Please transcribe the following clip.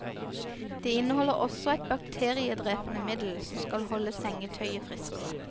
Det inneholder også et bakteriedrepende middel, som skal holde sengetøyet friskere.